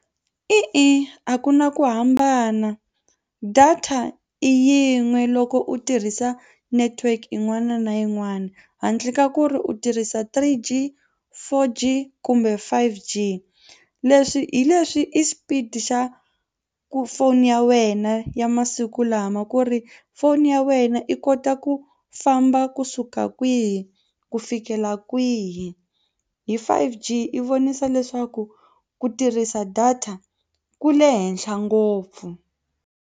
E-e a ku na ku hambana data i yin'we loko u tirhisa network yin'wana na yin'wana handle ka ku ri u tirhisa three G, four G kumbe five G. Leswi hi leswi i xipida xa foni ya wena ya masiku lama ku ri foni ya wena i kota ku famba kusuka kwihi ku fikela kwihi hi five G i vonisa leswaku ku tirhisa data ku le henhla ngopfu.